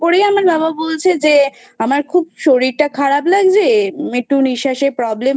করেই আমার বাবা বলছে যে খুব শরীরটা খারাপ লাগছে একটু নিঃশ্বাসে problem